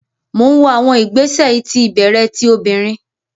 Mo n wo awọn igbesẹ iti ibẹrẹ ti obinrin